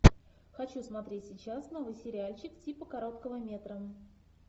хочу смотреть сейчас новый сериальчик типа короткого метра